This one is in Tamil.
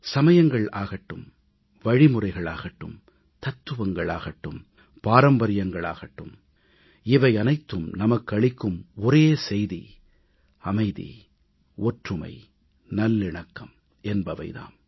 சமயங்கள் ஆகட்டும் வழிமுறைகள் ஆகட்டும் தத்துவங்கள் ஆகட்டும் பாரம்பரியங்கள் ஆகட்டும் இவை அனைத்தும் நமக்கு அளிக்கும் ஒரே செய்தி அமைதி ஒற்றுமை நல்லிணக்கம் என்பவை தாம்